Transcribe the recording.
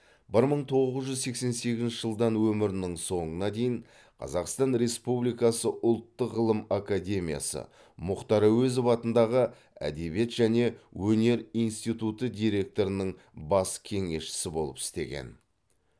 бір мың тоғыз жүз сексен сегізінші жылдан өмірінің соңына дейін қазақстан республикасы ұлттық ғылым академиясы мұхтар әуезов атындағы әдебиет және өнер институты директорының бас кеңесшісі болып істеген